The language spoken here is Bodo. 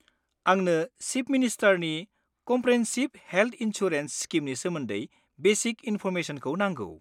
आंनो चिफ मिनिस्टारनि कमप्रेहेनसिब हेल्थ इनसुरेन्स स्किमनि सोमोन्दै बेसिक इनफ'र्मेसनखौ नांगौ।